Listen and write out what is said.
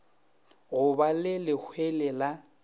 go ba le lehlwele la